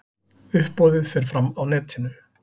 Uppboðið fer fram á netinu.